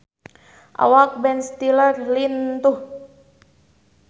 Awak Ben Stiller lintuh